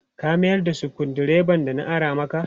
Ka miyar da sukuru dreban da na ara makp